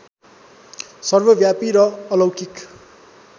सर्वव्यापी र अलौकिक